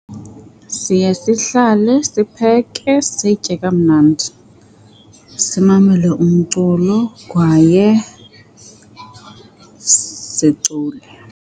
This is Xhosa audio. Siye sihlale, sipheke, sitye kamnandi, simamele umculo kwaye sicule.